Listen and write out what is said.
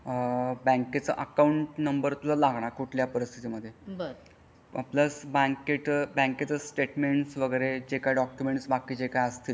कि बँकेचा account number लागेल तुझा कुठल्या पण परीस्तीथत प्लस बँकेत बँकेचा स्टेटमेंट्स वगरे जे काही डॉक्युमेंट्स बाकीचे काही असतील.